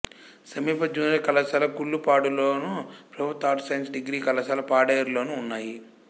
సమీప జూనియర్ కళాశాల కులుపాడులోను ప్రభుత్వ ఆర్ట్స్ సైన్స్ డిగ్రీ కళాశాల పాడేరులోనూ ఉన్నాయి